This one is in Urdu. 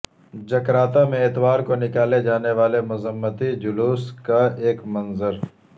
جکارتہ میں اتوار کو نکالے جانے والے مذمتی جلوس کا ایک منظر